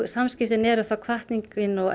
samskiptin eru þá hvatningin og